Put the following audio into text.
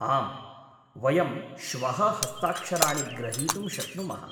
आम्, वयं श्वः हस्ताक्षराणि ग्रहीतुं शक्नुमः।